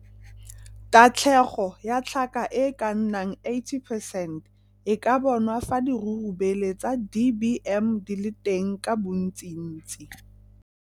Tatlhego ya tlhaka e e ka nnang 80 percent e ka bonwa fa dirurubele tsa DBM di le teng ka bontsintsi.